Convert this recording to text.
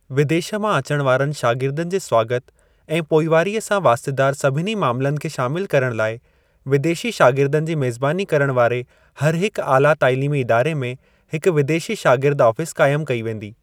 विदेश मां अचण वारनि शागिर्दनि जे स्वागत ऐं पोइवारीअ सां वास्तेदार सभिनी मामलनि खे शामिल करण लाइ, विदेशी शागिर्दनि जी मेज़बानी करण वारे हरहिक आला तालीमी इदारे में हिक विदेशी शागिर्द आफ़ीस क़ाइमु कई वेंदी।